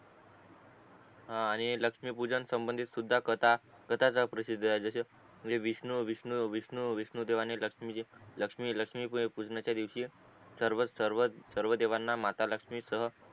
हा आणि लक्ष्मी पूजन संबधी सुद्धा कथाच कथाच प्रसिद्ध ए जशी विष्णू विष्णू विष्णू विष्णू देवाने लक्ष्मी लक्ष्मी पूजनाचा दिवशी सर्व सर्व सर्व देवाना माता लक्ष्मीचं